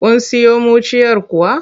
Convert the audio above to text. Kun siyo muciyar kuwa?